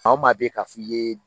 Maa o maa bɛ k'a f'i ye